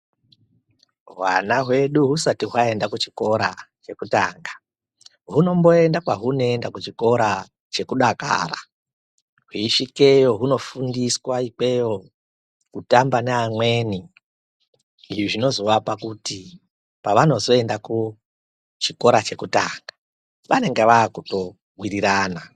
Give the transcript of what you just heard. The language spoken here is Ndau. Hwana hwedu husati hwayenda kuchikora chekutanga hunomboenda kwahunoenda kuchikora chekudakara hweisvikeyo hunofundiswa ikweyo kutamba neamweni izvi zvinozovapa kuti pavanozoenda kuchikora chekutanga vanenge vaakutowirirana.